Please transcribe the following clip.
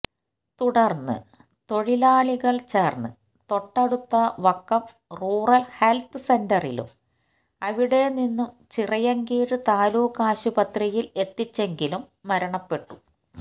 തുടർന്ന് തൊഴിലാളികൾ ചേർന്ന് തൊട്ടടുത്തെ വക്കം റൂറൽ ഹെൽത്ത് സെൻ്ററിലും അവിടെ നിന്നും ചിറയിൻകീഴ് താലൂക്കാശുപത്രിയിൽ എത്തിച്ചെങ്കിലും മരണപ്പെട്ടു